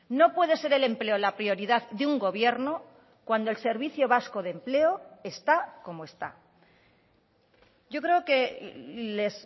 no puede ser el empleo la prioridad de un gobierno cuando el servicio vasco de empleo está como está yo creo que les